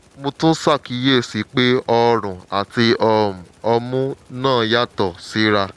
mo tún ṣàkíyèsí pé òórùn àti um omi náà yàtọ̀ síra